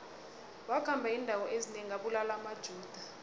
wakhamba indawo ezinengi abulala amajuda